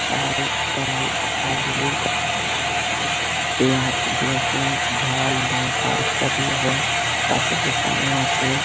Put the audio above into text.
চাল ডাল আলু পেঁয়াজ লসুন ঝাল লঙ্কা ইত্যাদি এবং পাশের দোকানেও আছে।